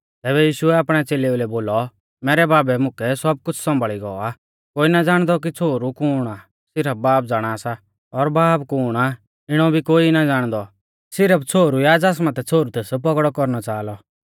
तैबै यीशुऐ आपणै च़ेलेऊ लै बोलौ मैरै बाबै मुकै सब कुछ़ सौंभाल़ी गौ आ कोई ना ज़ाणदौ कि छ़ोहरु कुण आ सिरफ बाब ज़ाणा सा और बाब कुण आ इणौ भी कोई ना ज़ाणदौ सिरफ छ़ोहरु या ज़ास माथै छ़ोहरु तेस पौगड़ौ कौरणै च़ाहा लौ